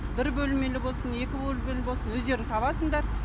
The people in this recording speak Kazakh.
бір бөлмелі болсын екі бөлмелі болсын өздерің табасыңдар